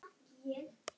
spurði hann reiður.